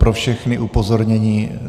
Pro všechny upozornění.